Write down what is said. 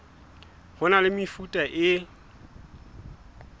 ho na le mefuta e